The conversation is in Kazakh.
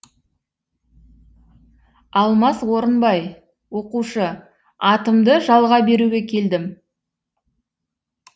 алмас орынбай оқушы атымды жалға беруге келдім